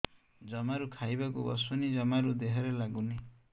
ଜମାରୁ ଖାଇବାକୁ ବସୁନି ଜମାରୁ ଦେହରେ ଲାଗୁନି